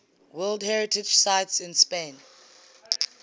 world heritage sites in spain